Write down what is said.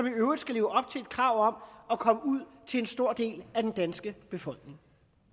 i øvrigt leve op til et krav om at komme ud til en stor del af den danske befolkning